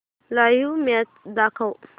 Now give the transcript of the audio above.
live match दाखव